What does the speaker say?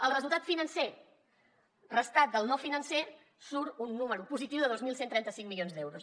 el resultat financer restat del no financer surt un número positiu de dos mil cent i trenta cinc milions d’euros